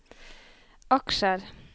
aksjer